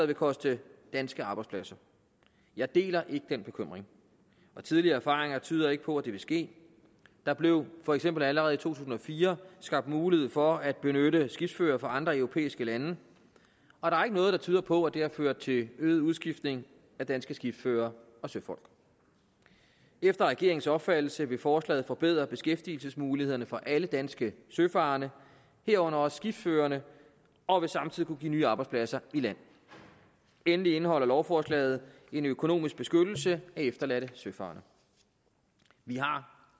vil koste danske arbejdspladser jeg deler ikke den bekymring og tidligere erfaringer tyder ikke på at det vil ske der blev for eksempel allerede tusind og fire skabt mulighed for at benytte skibsførere fra andre europæiske lande og der er ikke noget der tyder på at det har ført til øget udskiftning af danske skibsførere og søfolk efter regeringens opfattelse vil forslaget forbedre beskæftigelsesmulighederne for alle danske søfarende herunder også skibsførerne og vil samtidig kunne give nye arbejdspladser i land endelig indeholder lovforslaget en økonomisk beskyttelse af efterladte søfarende vi har